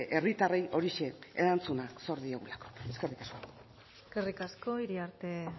herritarrei horixe erantzunak zor diegulako eskerrik asko eskerrik asko iriarte